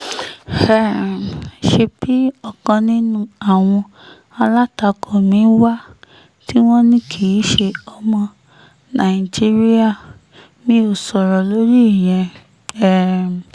um ṣebí ọ̀kan nínú àwọn alátakò mi wà tí wọ́n ní kì í ṣe ọmọ nàìjíríà mi ò sọ̀rọ̀ lórí ìyẹn um